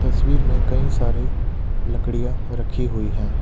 तस्वीर में कई सारी लकड़िया रखी हुई हैं।